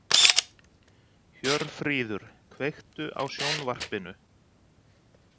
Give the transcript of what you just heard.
Hjörfríður, kveiktu á sjónvarpinu.